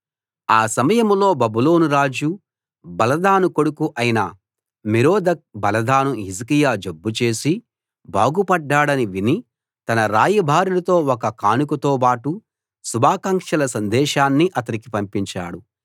ఆ సమయంలో బబులోను రాజు బలదాను కొడుకు అయిన మెరోదక్ బలదాను హిజ్కియా జబ్బు చేసి బాగుపడ్డాడని విని తన రాయబారులతో ఒక కానుకతోబాటు శుభాకాంక్షల సందేశాన్ని అతనికి పంపించాడు